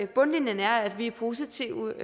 bundlinjen er at vi er positive